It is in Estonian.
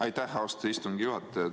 Aitäh, austatud istungi juhataja!